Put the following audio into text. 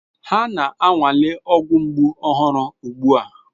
Ha na-anwale ọgwụ mgbu ọhụrụ ugbu a.